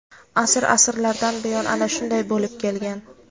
Asr-asrlardan buyon ana shunday bo‘lib kelgan.